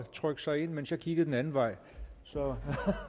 trykke sig ind mens jeg kiggede den anden vej så